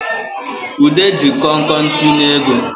Ude ji konkon tinye ego